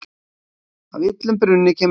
Af illum brunni kemur óhreint vatn.